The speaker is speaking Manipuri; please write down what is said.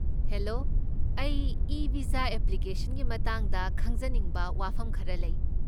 ꯍꯦꯂꯣ, ꯑꯩꯒꯤ ꯏ ꯚꯤꯖꯥ ꯑꯦꯄ꯭ꯂꯤꯀꯦꯁꯟꯒꯤ ꯃꯇꯥꯡꯗ ꯍꯪꯖꯅꯤꯡꯕ ꯋꯥꯍꯪ ꯈꯔ ꯂꯩ꯫